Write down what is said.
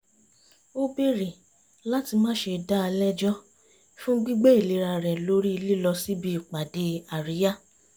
ó bèrè láti má ṣe dá a lẹ́jọ́ fún gbígbé ìlera rẹ̀ lórí lílọ síbi ìpàdé àríyá